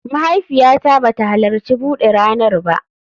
Mahaifiyata ba ta halarci bude ranar ba